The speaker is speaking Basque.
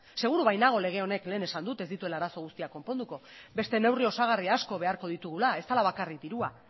seguru bait nago lege honek lehen esan dut ez dituela arazo guztiak konponduko beste neurri osagarri asko beharko ditugula ez dela bakarrik dirua